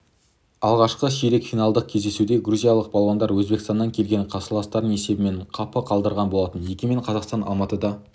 алғашқы ширек финалдық кездесуде грузиялық балуандар өзбекстаннан келген қарсыластарын есебімен қапы қалдырған болатын егемен қазақстан алматыда